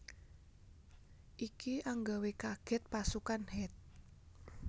Iki anggawe kaget pasukan Het